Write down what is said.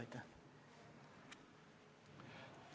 Aitäh!